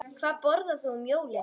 Hvað borðar þú um jólin?